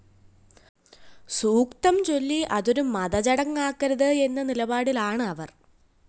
സൂക്തം ചൊല്ലി അതൊരു മതചടങ്ങാക്കരുത് എന്നനിലപാടിലാണ് അവര്‍